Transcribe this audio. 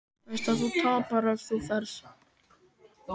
Veist að þú tapar ef þú ferð.